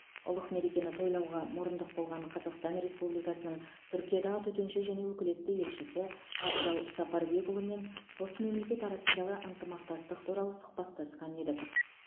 ұлық мерекені тойлауға мұрындық болған қазақстан республикасының түркиядағы төтенше және өкілетті елшісі абзал сапарбекұлымен қос мемлекет арасындағы ынтымақтастық туралы сұхбаттасқан едік